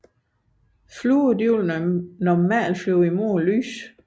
Fluer vil normalt flyve mod lyset